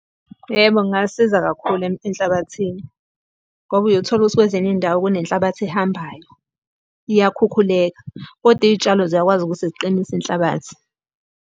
Yebo, kungasiza kakhulu enhlabathini. Ngoba uyothola ukuthi kwezinye iy'ndawo kunenhlabathi ehambayo, iyakhukhuleka, kodwa iy'tshalo ziyakwazi ukuthi ziqinise inhlabathi.